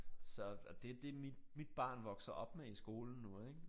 Så og det det mit mit barn vokser op med i skolen nu ik